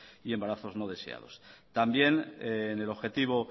y embarazos no deseados también en el objetivo